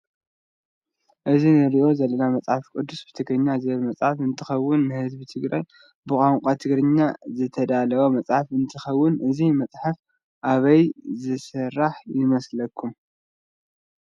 እዚ እንሪኦ ዘለና መፅሓፍ ቅዱስ ብትግርኛ ዝብል መፅሓፍ እንትኸዉን፤ ንህዝቢ ትግራይ ብቛንቋ ትግርኛ ዝተዳለወ መፅሓፍ እንትኸዉን እዚ መፅሓፍ ኣበይ ዝስራሕ ይመስለኩም?